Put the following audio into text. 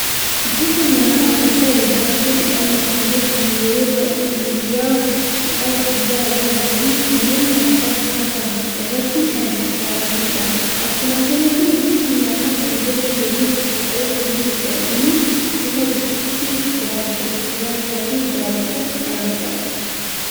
Gosa nyaata kan ta'e daabboo jedhamuun kan beekamu yeroo baay'ee guyyaa cidhaa, guyyaa ayyaana, fi kanneen kana fakkatan irratti kan dhi'aatanidha. akkuma kanallee gosti nyaata kun gosa sadiin qopha'ee kan jirudha. innis gosa buskuti, daabboo gurraachaa fi daabboo adiidha.